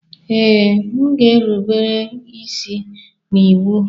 Ee, m ga-erube isi n'iwu